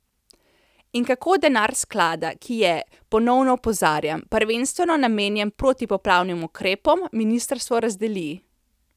In kako denar sklada, ki je, ponovno opozarjam, prvenstveno namenjen protipoplavnim ukrepom, ministrstvo razdeli?